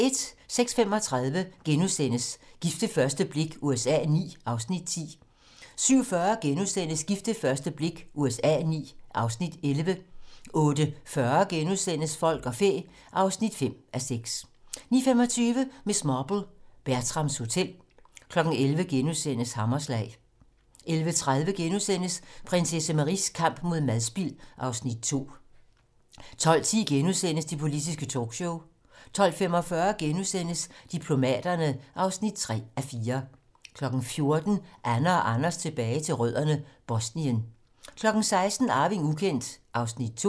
06:35: Gift ved første blik USA IX (Afs. 10)* 07:40: Gift ved første blik USA IX (Afs. 11)* 08:40: Folk og fæ (5:6)* 09:25: Miss Marple: Bertrams Hotel 11:00: Hammerslag * 11:30: Prinsesse Maries kamp mod madspild (Afs. 2)* 12:10: Det politiske talkshow * 12:45: Diplomaterne (3:4)* 14:00: Anne og Anders tilbage til rødderne: Bosnien 16:00: Arving ukendt (Afs. 2)